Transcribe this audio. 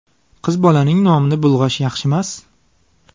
Qiz bolaning nomini bulg‘ash yaxshimas.